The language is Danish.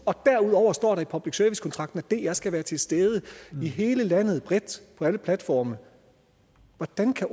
og derudover står der i public service kontrakten at dr skal være til stede i hele landet bredt på alle platforme hvordan kan